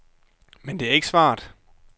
Men det er ikke svaret.